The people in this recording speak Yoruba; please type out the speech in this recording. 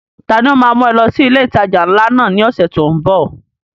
Ta ni ó ma mú ẹ lọ sí ilé ìtajà ńlá náà ní ọ̀sẹ̀ tó ń bọ̀?